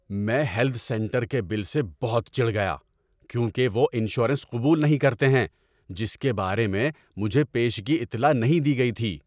میں health centre کے bill سے بہت چڑ گیا کیونکہ وہ انشورنس قبول نہیں کرتے ہیں جس کے بارے میں مجھے پیشگی اطلاع نہیں دی گئی تھی۔